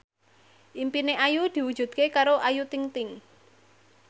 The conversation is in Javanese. impine Ayu diwujudke karo Ayu Ting ting